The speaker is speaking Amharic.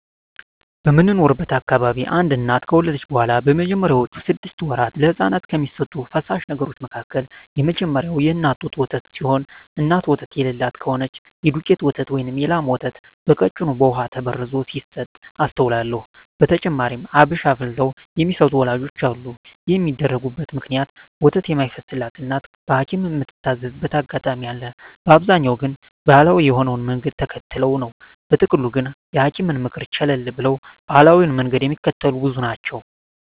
በምኖርበት አካባቢ አንድ እናት ከወለደች በኋላ በመጀመሪያወቹ ስድስት ወራት ለህጻናት ከሚሰጡ ፈሳሽ ነገሮች መካከል የመጀመሪያው የእናት ጡት ወተት ሲሆን እናት ወተት የለላት ከሆነች የዱቄት ወተት ወይም የላም ወተት በቀጭኑ በውሃ ተበርዞ ሲሰጥ አስተውላለው። በተጨማሪም አብሽ አፍልተው የሚሰጡ ወላጆችም አሉ። ይህን የሚያደርጉበት ምክንያት ወተት የማይፈስላት እናት በሀኪምም ምትታዘዝበት አጋጣሚ አለ፤ በአብዛኛው ግን ባሀላዊ የሆነውን መንገድ ተከትለው ነው። በጥቅሉ ግን የሀኪምን ምክር ቸለል ብለው ባሀላዊውን መንገድ ሚከተሉ ብዙ ናቸው።